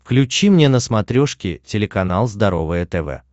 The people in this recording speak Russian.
включи мне на смотрешке телеканал здоровое тв